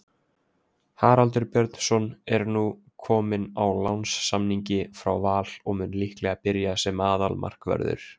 Haraldur Björnsson er nú kominn á lánssamningi frá Val og mun líklega byrja sem aðalmarkvörður.